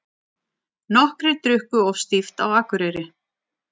Nokkrir drukku of stíft á Akureyri